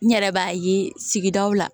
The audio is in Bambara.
N yɛrɛ b'a ye sigidaw la